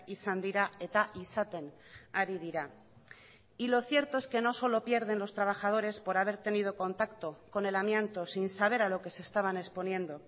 izan dira eta izaten ari dira y lo cierto es que no solo pierden los trabajadores por haber tenido contacto con el amianto sin saber a lo que se estaban exponiendo